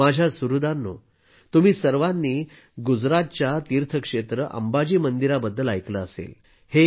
माझ्या सुहृदांनो तुम्ही सर्वांनी गुजरातच्या तीर्थक्षेत्र अंबाजी मंदिराबद्दल ऐकले असेलच